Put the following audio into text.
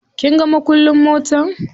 Kinga makullin motar?